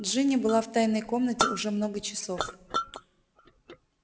джинни была в тайной комнате уже много часов